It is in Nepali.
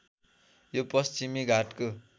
यो पश्चिमी घाटको